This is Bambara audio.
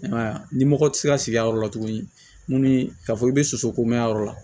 I m'a ye a ni mɔgɔ tɛ se ka sigi a yɔrɔ la tuguni ka fɔ i bɛ soso ko ma yɔrɔ la